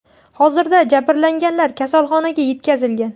Hozirda jabrlanganlar kasalxonaga yetkazilgan.